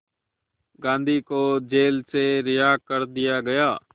गांधी को जेल से रिहा कर दिया गया